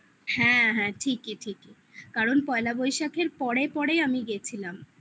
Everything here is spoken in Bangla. হ্যাঁ হ্যাঁ ঠিকই, ঠিকই কারণ পয়লা বৈশাখের পরে পরে আমি গেছিলাম